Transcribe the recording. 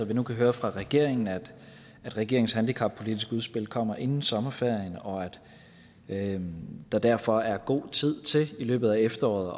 vi nu kan høre fra regeringen at regeringens handicappolitiske udspil kommer inden sommerferien og at der derfor er god tid til i løbet af efteråret